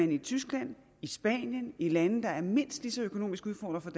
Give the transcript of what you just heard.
i tyskland spanien og i lande der er mindst lige så økonomisk udfordret